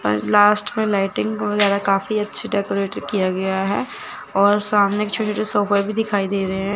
Last lighting बहुत जादा काफी अच्छी डेकोरेट किया गया है और सामने छोटे छोटे दिखाई दे रहे हैं।